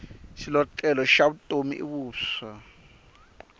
xilotlela xa vutomi i vuswa